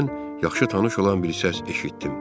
Birdən yaxşı tanış olan bir səs eşitdim.